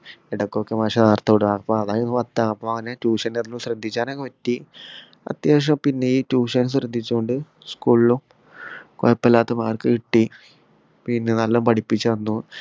ഇടക്കൊക്കെ മാഷ് നേരത്തെ വിടും അപ്പൊ അതായിരുന്നു പറഞ്റ്റെ അപ്പൊ ഞാൻ tuition ന്റടന്ന് ശ്രദ്ധിച്ചാനൊക്കെ പറ്റി അത്യാവശ്യം പിന്നെ ഈ tuition ശ്രദ്ധിച്ചോണ്ട് school ഉം കൊയോപ്പോല്ലാത്ത mark കിട്ടി പിന്നെ നല്ലോം പഠിപ്പിച്ചന്നു